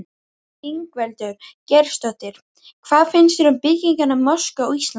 Ingveldur Geirsdóttir: Hvað finnst þér um byggingu mosku á Íslandi?